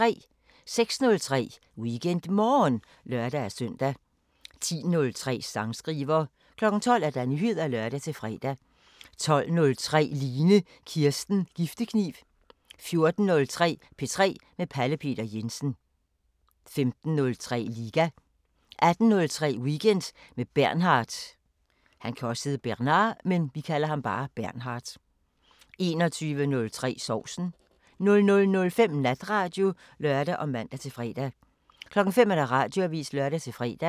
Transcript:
06:03: WeekendMorgen (lør-søn) 10:03: Sangskriver 12:00: Nyheder (lør-fre) 12:03: Line Kirsten Giftekniv 14:03: P3 med Pelle Peter Jensen 15:03: Liga 18:03: Weekend med Bernhard 21:03: Sovsen 00:05: Natradio (lør og man-fre) 05:00: Radioavisen (lør-fre)